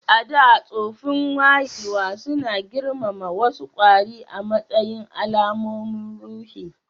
A da, tsoffin wayewa suna girmama wasu kwari a matsayin alamomin ruhi